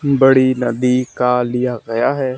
बड़ी नदी का लिया गया है।